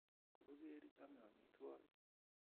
Koker chome omitwo'kik